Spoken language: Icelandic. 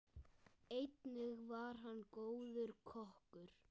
Einnig var hann góður kokkur.